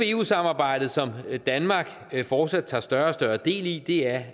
eu samarbejdet som danmark fortsat tager større og større del i er